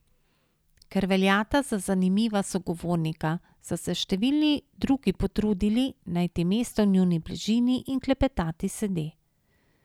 Ker veljata za zanimiva sogovornika, so se številni drugi potrudili najti mesto v njuni bližini in klepetati sede.